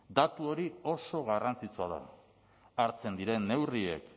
datu hori oso garrantzitsua da hartzen diren neurriek